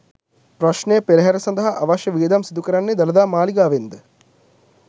ප්‍රශ්නය පෙරහර සඳහා අවශ්‍ය වියදම් සිදු කරන්නේ දළදා මාලිගාවෙන් ද?